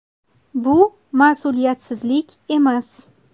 Bu mas’uliyatsizlik emas.